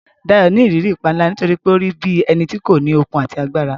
Dayo ni ìrírí ìpániláyà nítorí pé ó rí bí ẹni tí kò ní okun àti agbára.